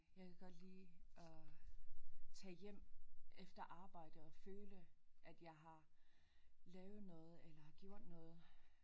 Jeg kan godt lide at tage hjem efter arbejde og føle at jeg har lavet noget eller har gjort noget